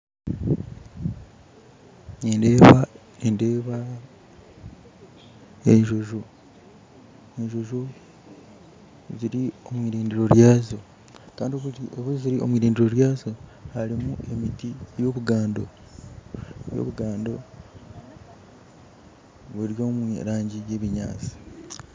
Nindeeba enjojo ziri omu irindiro ryazo kandi obu ziri omu irindiro ryazo harimu emiti y'obugando buri omurangi y'ebinyatsi.